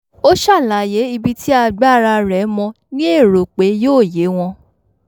ó ṣàlàyé ibi tí agbára rẹ̀ mó ní èrò pé yóò yé wọn